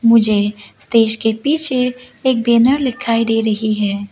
मुझे स्टेज के पीछे एक बैनर लिखाई दे रही है।